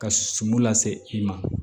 Ka suman lase i ma